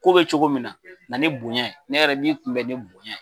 Ko be cogo min na na ni bonya ne yɛrɛ n b'i kun bɛ ni bonya ye